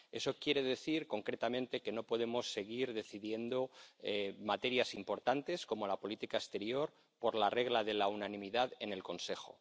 Eso quiere decir, concretamente, que no podemos seguir decidiendo materias importantes, como la política exterior, por la regla de la unanimidad en el Consejo.